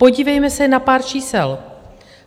Podívejme se na pár čísel.